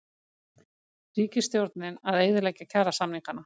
Ríkisstjórnin að eyðileggja kjarasamningana